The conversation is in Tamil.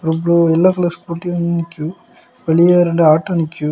இவ்லோ எல்லோ கலர் ஸ்கூட்டி நிக்கு வெளியே இரண்டு ஆட்டோ நிக்கு.